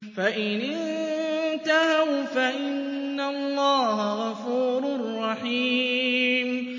فَإِنِ انتَهَوْا فَإِنَّ اللَّهَ غَفُورٌ رَّحِيمٌ